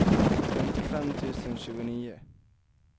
femtiofem tusen tjugonio